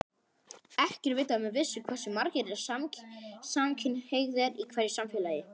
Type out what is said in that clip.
Ekki er vitað með vissu hversu margir eru samkynhneigðir í hverju samfélagi.